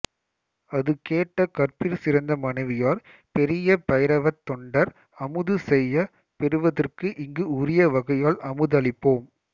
அதுகேட்ட கற்பிற்சிறந்த மனைவியார் பெரிய பைரவத் தொண்டர் அமுது செய்யப் பெறுவதற்கு இங்கு உரிய வகையால் அமுதளிப்போம்